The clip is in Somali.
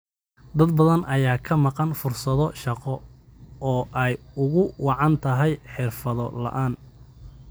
Dad badan ayaa ka maqan fursado shaqo oo ay ugu wacan tahay xirfado la'aan.